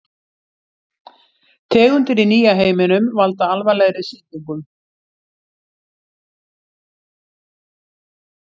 Tegundir í nýja heiminum valda alvarlegri sýkingum.